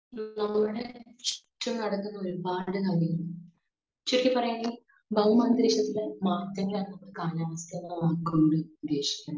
speaker 2